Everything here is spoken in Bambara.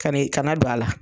Ka n'i kana don a la.